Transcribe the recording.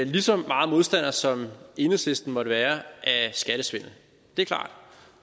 lige så meget modstandere som enhedslisten måtte være af skattesvindel det er klart